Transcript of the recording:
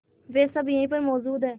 वे सब यहीं पर मौजूद है